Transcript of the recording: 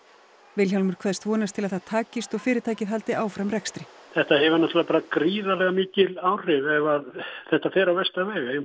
Vilhjálmur kveðst vonast til að það takist og fyrirtækið haldi áfram rekstri þetta hefur gríðarlega mikil áhrif ef allt fer á versta